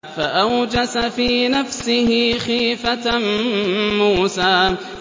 فَأَوْجَسَ فِي نَفْسِهِ خِيفَةً مُّوسَىٰ